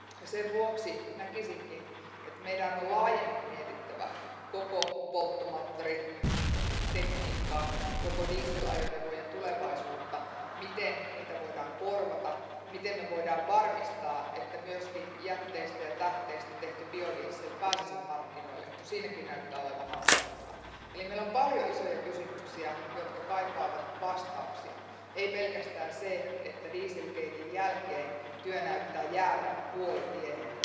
Sen vuoksi näkisinkin, että meidän on laajemmin mietittävä koko polttomoottoritekniikkaa, koko dieselajoneuvojen tulevaisuutta, ja sitä, miten niitä voidaan korvata ja miten voidaan varmistaa, että myös jätteistä ja tähteistä tehty biodiesel pääsisi markkinoille, kun siinäkin näyttää olevan hankaluuksia. Eli meillä on paljon isoja kysymyksiä, jotka kaipaavat vastauksia ei pelkästään se, että dieselgaten jälkeen työ näyttää jäävän puolitiehen.